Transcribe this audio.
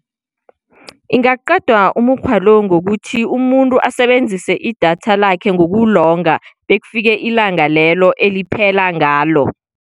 Ingaqedwa umukghwa lo ngokuthi umuntu asebenzise idatha lakhe ngokulonga bekufike ilanga lelo eliphela ngalo.